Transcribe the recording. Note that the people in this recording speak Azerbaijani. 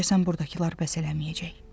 Deyəsən burdakılar bəs eləməyəcək.